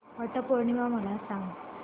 वट पौर्णिमा मला सांग